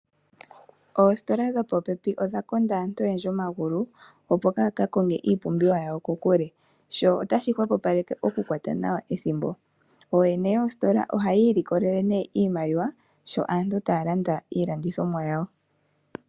Oositola dho popepi odha konda aantu oyendji omagulu opo kaya kakonge iipumbiwa yawo kokule sho otashi hwepopaleke okukwata nawa ethimbo, ooyene yoositola oha yiilikolele nee iimaliwa sho aantu taya landa iilandithomwa yawo.